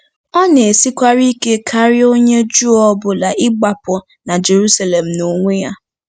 Ọ na-esikwara ike karị onye Juu ọ bụla ịgbapụ na Jeruselem n'onwe ya.